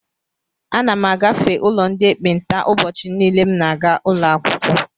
Ana m agafe ụlọ ndị ekpenta ụbọchị niile m na-aga ụlọakwụkwọ.